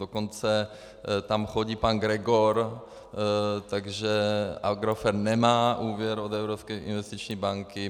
Dokonce tam chodí pan Gregor, takže Agrofert nemá úvěr od Evropské investiční banky.